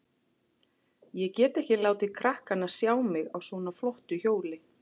Ég get ekki látið krakkana sjá mig á svona flottu hjóli.